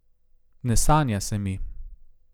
Ne sanja se mi.